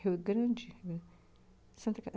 Rio Grande, Santa Cata